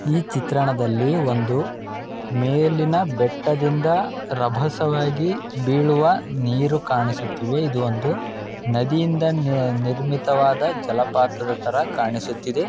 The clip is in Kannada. ಈ ಚಿತ್ರಣದಲ್ಲಿ ಒಂದು ಮೇಲಿನ ಬೆಟ್ಟದಿಂದ ರಭಸವಾಗಿ ಬೀಳುವ ನೀರು ಕಾಣಿಸುತ್ತಿದೆ ಇದು ಒಂದು ನದಿ ಇಂದ ನಿರ್ ನಿರ್ಮಿತವಾದ ಜಲಪಾತದ ತರ ಕಾಣಿಸುತ್ತಿದೆ.